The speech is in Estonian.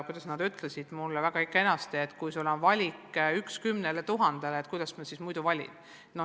Ja nad ütlesid mulle väga selgesti, et kui on vaja valida üks 10 000 seast, siis kuidas muudmoodi valida.